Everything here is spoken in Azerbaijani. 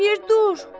Bir dur!